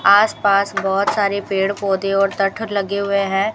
आसपास बहोत सारे पेड़ पौधे और टथर लगे हुए हैं।